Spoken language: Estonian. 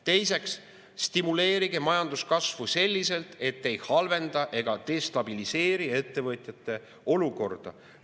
Teiseks, stimuleerige majanduskasvu selliselt, et te ei halvenda, ei destabiliseeri ettevõtjate olukorda.